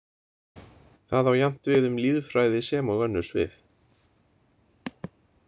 Það á jafnt við um lýðfræði sem og önnur svið.